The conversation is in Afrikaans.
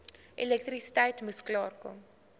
elektrisiteit moes klaarkom